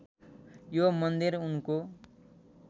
यो मन्दिर उनको